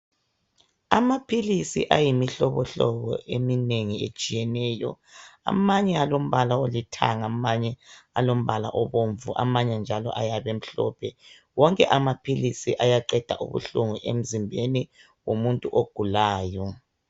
Amaphilisi ayimihlobo hlobo eminengi etshiyeneyo amanye alombala olithanga amanye alombala obomvu amanye njalo ayabe emhlophe wonke amaphilizi ayaqeda ubuhlungu emzimbeni womuntu ogulayo.